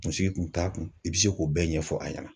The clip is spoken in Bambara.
Kunsigi kun t'a kun i bɛ se k'o bɛɛ ɲɛfɔ a ɲɛna.